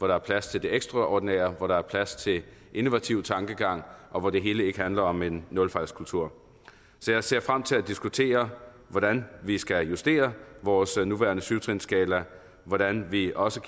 der er plads til det ekstraordinære så der er plads til innovativ tankegang og så det hele ikke handler om en nulfejlskultur så jeg ser frem til at diskutere hvordan vi skal justere vores nuværende syvtrinsskala og hvordan vi også